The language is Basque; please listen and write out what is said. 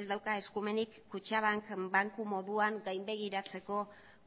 ez dauka eskumenik kutxabank banku moduan gainbegiratzeko